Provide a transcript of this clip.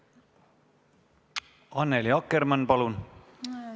Annely Akkermann, palun!